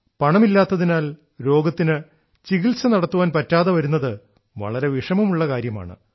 പണമില്ലാത്തതിനാൽ രോഗത്തിന് ചികിത്സ നടത്താൻ പറ്റാതെ വരുന്നത് വളരെ വിഷമമുള്ള കാര്യമാണ്